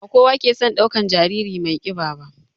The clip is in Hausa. Ba kowa ke son ɗaukan jariri mai ƙiba ba